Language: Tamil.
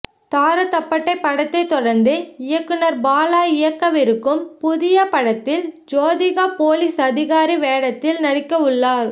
தாரைதப்பட்டை படத்தை தொடர்ந்து இயக்குனர் பாலா இயக்கவிருக்கும் புதிய படத்தில் ஜோதிகா போலீஸ் அதிகாரி வேடத்தில் நடிக்க உள்ளார்